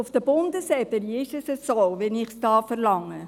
Auf Bundesebene ist es so, wie ich es verlange.